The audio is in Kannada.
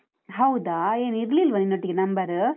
ಹೌದಾ? ಏನ್ ಇರ್ಲಿಲ್ವ ನಿನ್ನೊಟ್ಟಿಗೆ number ?